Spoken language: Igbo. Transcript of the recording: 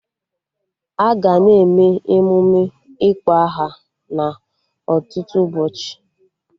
Aga na-eme emụme ịkpọ aha na ọtụtụ ụbọchị